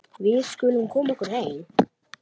Við skulum koma okkur heim.